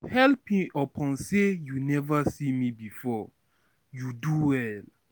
helping upon sey you neva see me before, you do well.